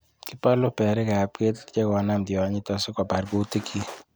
Kibolu berikab ketit chekonam tionyiton sikobar kutikyik.